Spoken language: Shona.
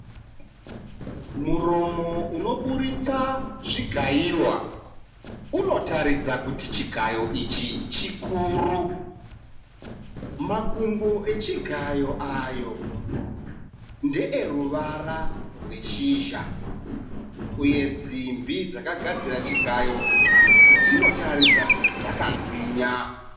Muromo unoburitsa zvigaiwa unotaridza kuti chigayo ichi chikuru. Makumbo echigayo ayo ndeeruvara rweshizha uye simbi dzakagadzira chigayo dzinotaridza kuti dzakagwinya.